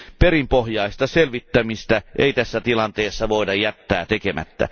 Perinpohjaista selvittämistä ei tässä tilanteessa voida jättää tekemättä.